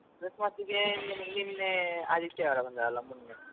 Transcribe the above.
Christmas ಗೆ ನಿನ್ನೇ ಆದಿತ್ಯವಾರ ಬಂದದಲ್ಲ ಮೊನ್ನೆ.